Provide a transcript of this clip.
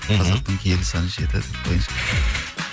қазақтың киелі саны жеті